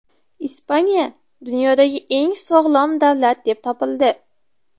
Ispaniya dunyodagi eng sog‘lom davlat deb topildi.